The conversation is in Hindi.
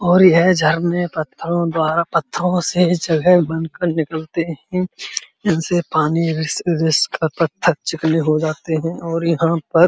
और यह झरने पत्थरों द्वारा पत्थरों से जगह बन कर निकलते हैं। इनसे पानी रिस-रिस कर पत्थर चिकने हो जाते हैं और यहाँ पर --